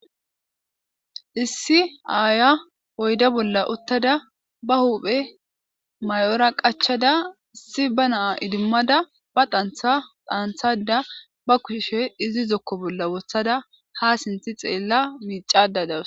Issi aaya oyda bolla uttada ba huphe may7ora qachada issi ba naa idimmada ba antha dhaanthada ba kushushe izi zokko bolla wothada ha sinthi xeella miicada dawus.